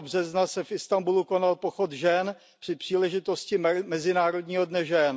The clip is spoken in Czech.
8. března se v Istanbulu konal pochod žen při příležitosti Mezinárodního dne žen.